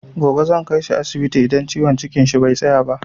Gobe zan kaishi asibiti idan ciwon cikin shi bai tsaya ba.